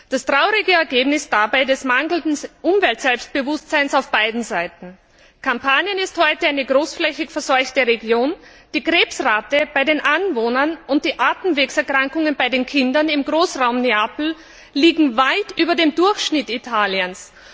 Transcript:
Das traurige Ergebnis dieses mangelnden Umweltbewusstseins auf beiden Seiten Kampanien ist heute eine großflächig verseuchte Region, die Krebsrate bei den Anwohnern und die Atemwegserkrankungen bei den Kindern im Großraum Neapel liegen weit über dem Durchschnitt Italiens.